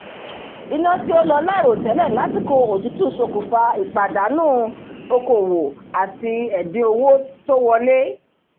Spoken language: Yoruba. iná tí ó lọ láìròtẹ́lẹ̀ lásìkò òtútù ṣokùnfà ìpàdánù okòwò àti ẹ̀dín owó tó wọlé